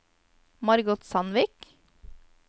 Margot Sandvik